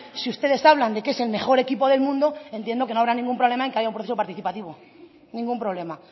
si ustedes hablan de que es el mejor equipo del mundo entiendo que no habrá ningún problema en que haya un proceso participativo ningún problema